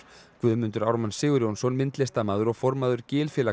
Guðmundur Ármann Sigurjónsson myndlistarmaður og formaður